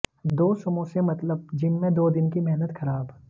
दो समासे मतलब जिम में दो दिन की मेहनत खराब